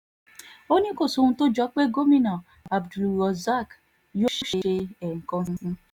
ó ní kò sóhun tó jọ pé gómìnà abdulrozak yóò ṣe ẹ̀ẹ̀kan sí i